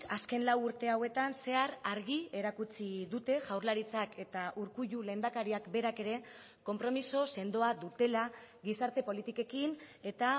azken lau urte hauetan zehar argi erakutsi dute jaurlaritzak eta urkullu lehendakariak berak ere konpromiso sendoa dutela gizarte politikekin eta